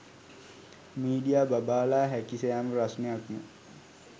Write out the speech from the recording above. media බබාලා හැකි සෑම ප්‍රශ්ණයක්ම